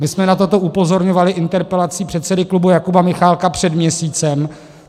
My jsme na toto upozorňovali interpelací předsedy klubu Jakuba Michálka před měsícem.